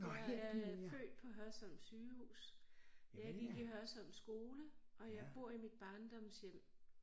Jeg er født på Hørsholm sygehus jeg gik i Hørsholm skole og jeg bor i mit barndomshjem